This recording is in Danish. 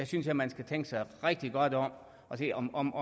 synes jeg man skal tænke sig rigtig godt om og se om om